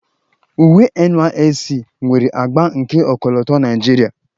Uwe NYSC nwere agba nke ọkọlọtọ Naijiria